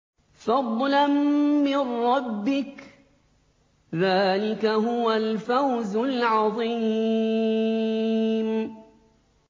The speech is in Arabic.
فَضْلًا مِّن رَّبِّكَ ۚ ذَٰلِكَ هُوَ الْفَوْزُ الْعَظِيمُ